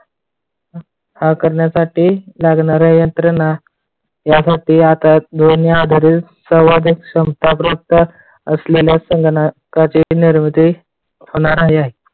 हा करण्यासाठी लागणाऱ्या यंत्रणा यासाठी आता दोन्ही आधारित संवादित संप्रदाय असलेल्या संगणकाची निर्मिती होणार आहे.